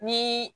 Ni